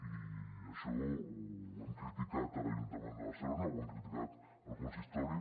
i això ho hem criticat a l’ajuntament de barcelona ho hem criticat al consistori